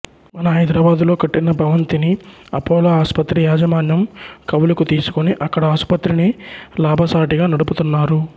మన హైదరాబాద్ లో కట్టిన భవంతిని అపోలో ఆసుపత్రి యాజమాన్యం కవులుకు తీసుకుని అక్కడ ఆసుపత్రిని లాభసాటిగా నడుపుతున్నారు